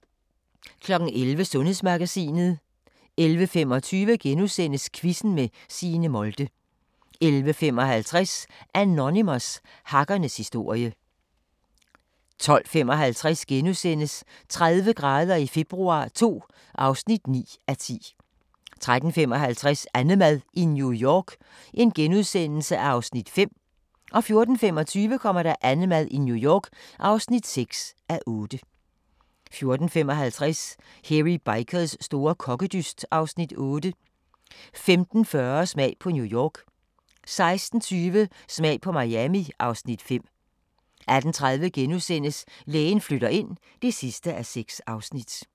11:00: Sundhedsmagasinet 11:25: Quizzen med Signe Molde * 11:55: Anonymous – hackernes historie 12:55: 30 grader i februar II (9:10)* 13:55: AnneMad i New York (5:8)* 14:25: AnneMad i New York (6:8) 14:55: Hairy Bikers store kokkedyst (Afs. 8) 15:40: Smag på New York 16:20: Smag på Miami (Afs. 5) 18:30: Lægen flytter ind (6:6)*